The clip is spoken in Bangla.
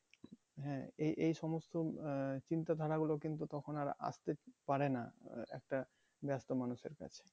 হ্যাঁ এই এই সমস্ত আহ চিন্তা ধারা গুলো কিন্তু তখন আর আসতে পারে না একটা ব্যস্ত মানুষের কাছে।